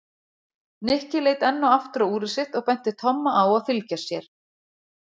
Nikki leit enn og aftur á úrið sitt og benti Tomma á að fylgja sér.